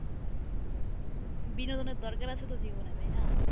বিনোদনের দরকার আছে তো জীবনে তাই না?